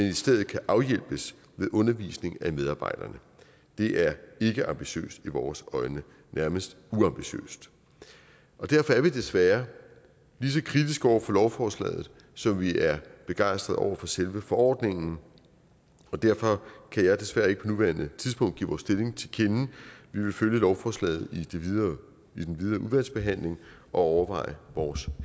i stedet kan afhjælpes ved undervisning af medarbejderne det er ikke ambitiøst i vores øjne nærmest uambitiøst derfor er vi desværre ligeså kritiske over for lovforslaget som vi er begejstrede over selve forordningen og derfor kan jeg desværre ikke på nuværende tidspunkt give vores stilling til kende vi vil følge lovforslaget i den videre udvalgsbehandling og overveje vores